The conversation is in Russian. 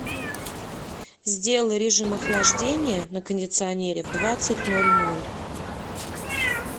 сделай режим охлаждения на кондиционере в двадцать ноль ноль